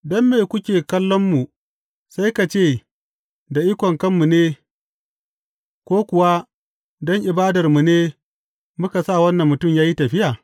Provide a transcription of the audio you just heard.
Don me kuke kallonmu sai ka ce da ikon kanmu ne ko kuwa don ibadarmu ne muka sa wannan mutum ya yi tafiya?